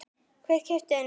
Hver keypti þennan hring?